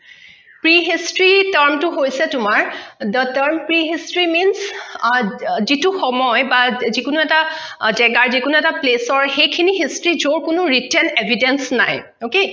pre history term টো হৈছে তোমাৰ the term pre history means যিটো সময় বা যিকোনো এটা জেগাৰ যিকোনো এটা place ৰ সেইখিনি history যৰ কোনো recent evidence নাই ok